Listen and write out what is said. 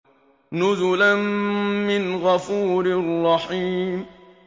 نُزُلًا مِّنْ غَفُورٍ رَّحِيمٍ